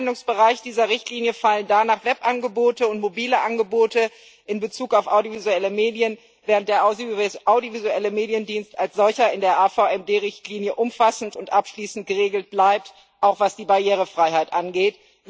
In den Anwendungsbereich dieser Richtlinie fallen demnach Webangebote und mobile Angebote in Bezug auf audiovisuelle Medien, während der audiovisuelle Mediendienst als solcher in der AVMD Richtlinie umfassend und abschließend geregelt bleibt, auch was die Barrierefreiheit angeht.